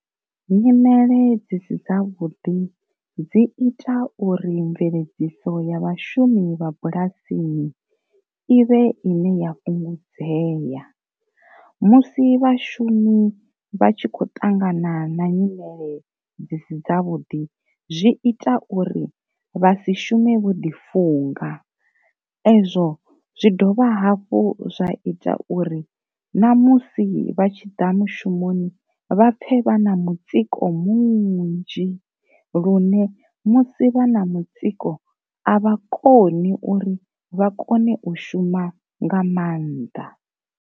Nyimele dzi si dza vhuḓi dzi ita uri mveledziso ya vhashumi vha bulasini ivhe ine ya fhungudzeya, musi vhashumi vha tshi khou ṱangana na nyimele dzi si dza vhuḓi zwi ita uri vha si shume vho ḓi funga, ezwo zwi dovha hafhu zwa ita uri ṋamusi vha tshiḓa mushumoni vha pfe vha na mutsiko munzhi, lune musi vha na mutsiko a vha koni uri vha kone u shuma nga maanḓa.